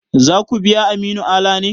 Za ku biya Aminu Ala ne?